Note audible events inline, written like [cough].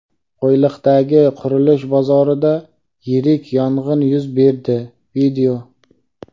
Qo‘yliqdagi qurilish bozorida yirik yong‘in yuz berdi. [video]